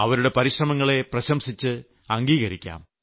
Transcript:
അവരുടെ പരിശ്രമങ്ങളെ പ്രശംസിച്ച് അംഗീകരിക്കാം